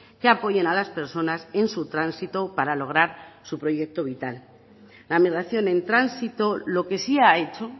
que apoyen a las personas en su tránsito para lograr su proyecto vital la migración en tránsito lo que sí ha hecho